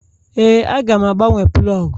Ee, Aga m agbanwe plọg.